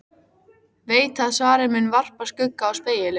Veit að svarið mun varpa skugga á spegilinn.